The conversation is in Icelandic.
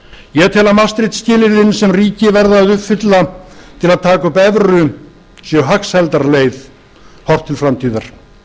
ég tel að maastricht skilyrðin sem ríki verða að uppfylla til að taka upp evru séu hagsældarleið horft til framtíðar